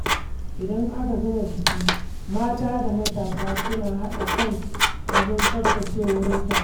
Idan aka gama biki, mata da matasa suna haɗa kai wajen tsaftace wurin taro.